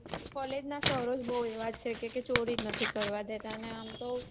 college ના sir ઓ જ બૌ એવા છે કે ચોરી જ નથી કરવા દેતા અને આમ તો